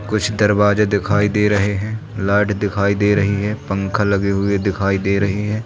कुछ दरवाजे दिखाई दे रहे हैं लाइट दिखाई दे रही है पंखा लगे हुए दिखाई दे रहे हैं।